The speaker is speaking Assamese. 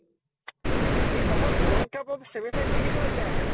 সি অকল world cup ৰ semi final কেইখনত বেয়া খেলে